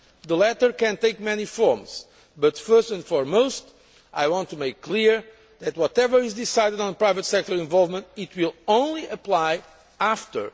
The latter can take many forms, but first and foremost I want to make clear that, whatever is decided on private sector involvement, it will only apply after